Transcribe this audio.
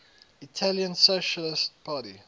italian socialist party